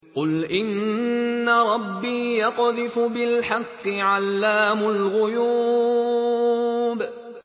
قُلْ إِنَّ رَبِّي يَقْذِفُ بِالْحَقِّ عَلَّامُ الْغُيُوبِ